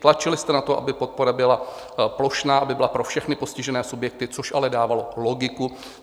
Tlačili jste na to, aby podpora byla plošná, aby byla pro všechny postižené subjekty, což ale dávalo logiku.